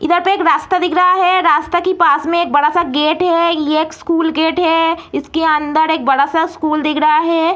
इधर पे एक रास्ता दिख रहा है रास्ता की पास में एक बड़ा-सा गेट है ये एक स्कूल गेट है इसके अंदर एक बड़ा-सा स्कूल दिख रहा है।